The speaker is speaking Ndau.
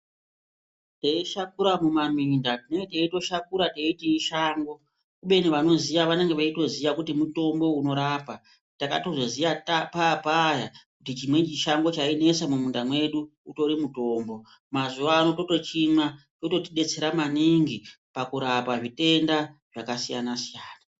Teishakura mumaminda tine teitoshakura teiti ishango kubeni vanoziya vanenge veitoziya kuti mutombo unorapa takatozoyiya papaya kuti chimweni chishango chainesa muunda medu utori mutombo. Mazuwano totochimwa kurapwa zvitenda zvakasiyana -siyana.